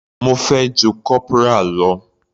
Mo fẹ́ ju corporal lọ.